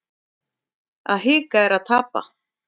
Að hika er að tapa